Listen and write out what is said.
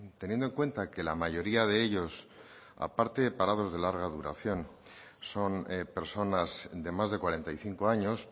teniendo en cuenta que la mayoría de ellos aparte de parados de larga duración son personas de más de cuarenta y cinco años